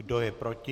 Kdo je proti?